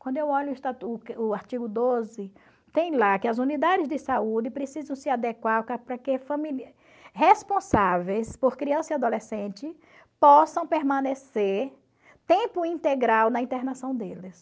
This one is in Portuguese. Quando eu olho o o artigo doze tem lá que as unidades de saúde precisam se adequar para que responsáveis por criança e adolescente possam permanecer tempo integral na internação deles.